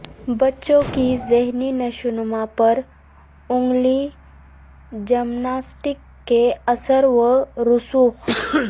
بچے کی ذہنی نشوونما پر انگلی جمناسٹکس کے اثر و رسوخ